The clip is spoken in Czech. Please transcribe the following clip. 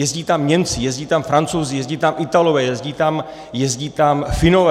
Jezdí tam Němci, jezdí tam Francouzi, jezdí tam Italové, jezdí tam Finové.